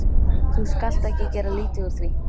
Þú skalt ekki gera lítið úr því.